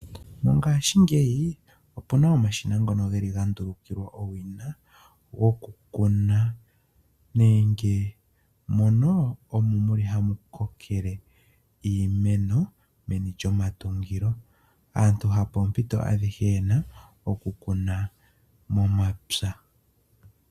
Mongashingeyi opu na omashina ngono ga ndulukilwa owina gokukuna nenge mono omo hamu kokele iimeno meni lyomatungo. Aantu hapoompito adhihe ye na okukuna momapya.